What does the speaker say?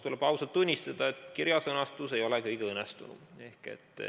Tuleb ausalt tunnistada, et kirja sõnastus ei ole kõige õnnestunum.